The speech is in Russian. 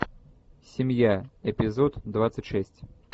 семья эпизод двадцать шесть